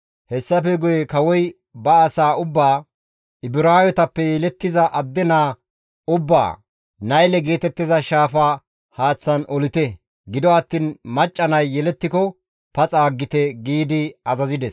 Hessafe guye kawoy ba asaa ubbaa, «Ibraawetappe yelettiza adde naa ubbaa Nayle geetettiza Shaafa haaththan olite; gido attiin macca nay yelettiko paxa aggite» giidi azazides.